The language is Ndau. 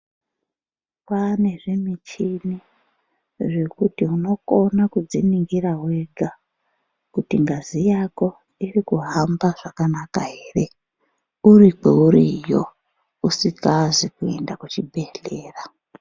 Kwaane zvimichini, zvekuti unokona kudziningira wega, kuti ngazi yako iri kuhamba zvakanaka ere ,uri kweuriyo, usikazi kuenda kuchibhedhlera.